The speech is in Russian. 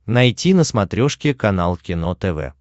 найти на смотрешке канал кино тв